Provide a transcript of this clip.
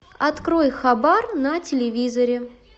открой хабар на телевизоре